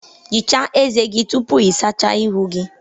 Ghichaa ezé gị tupu ị sachaa ihu gị